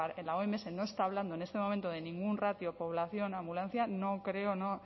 la oms no está hablando en este momento de ningún ratio población ambulancia no creo me